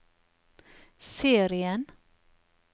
serien